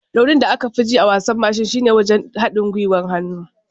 Raunin da aka fi ji a wasan mashi shine wajen haɗin gwiwar hannu.